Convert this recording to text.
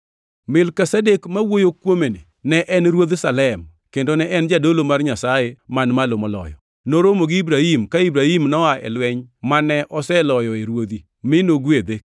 Melkizedek mwawuoyo kuomeni ne en ruodh Salem kendo ne en jadolo mar Nyasaye Man Malo Moloyo. Noromo gi Ibrahim ka Ibrahim noa e lweny mane oseloyoe ruodhi, mi nogwedhe,